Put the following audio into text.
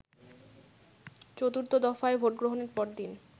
চতুর্থ দফায় ভোটগ্রহণের পরদিন